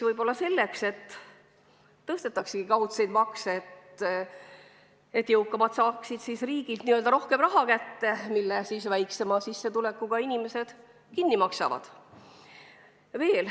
Võib-olla selleks tõstetaksegi kaudseid makse, et jõukamaid saaksid riigilt n-ö rohkem raha kätte, mille siis väiksema sissetulekuga inimesed kinni maksavad.